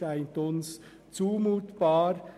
Das erscheint uns zumutbar.